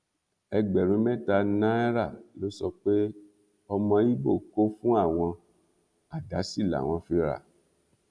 ẹgbẹrún mẹta náírà ló sọ pé ọmọ ibo kò fún àwọn àdá sí làwọn fi rà